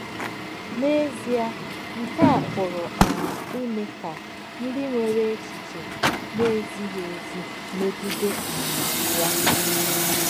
N’èzìè, nké à pùrù um ìmè kà ńdí nwèrè èchìchè nà-èzìghí èzì mègìdè um yà.